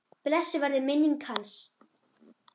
Blessuð verði minning hans.